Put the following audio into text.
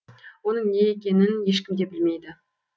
оның не екенін ешкім де білмейді